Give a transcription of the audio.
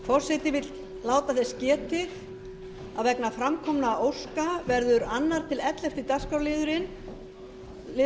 forseti vill láta þess getið að vegna fram kominna óska verður annað til ellefta dagskrárliðum